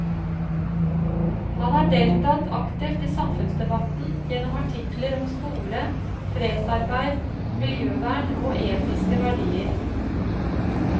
Han har deltatt aktivt i samfunnsdebatten gjennom artikler om skole, fredsarbeid, miljøvern og etiske verdier.